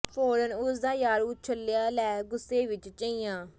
ਫ਼ੌਰਨ ਉਸ ਦਾ ਯਾਰ ਉਛਲਿਆ ਲੈ ਗੁਸੇ ਵਿਚ ਝਈਆਂ